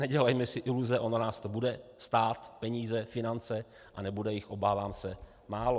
Nedělejme si iluze, ono nás to bude stát peníze, finance, a nebude jich, obávám se, málo.